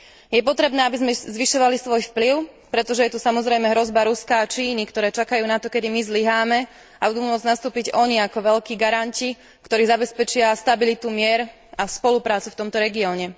Je potrebné, aby sme zvyšovali svoj vplyv, pretože je tu samozrejme hrozba Ruska a Číny, ktoré čakajú na to, kedy my zlyháme a budú môcť nastúpiť oni ako veľkí garanti, ktorí zabezpečia stabilitu, mier a spoluprácu v tomto regióne.